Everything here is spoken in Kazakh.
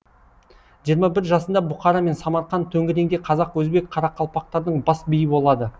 жиырма бір жасында бұқара мен самарқан төңірегіндегі қазақ өзбек қарақалпақтардың бас биі болады